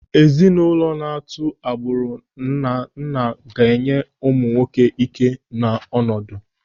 Ezinụlọ na-atụ agbụrụ na nna ga-enye ụmụ nwoke ị́ké na ọnọdụ.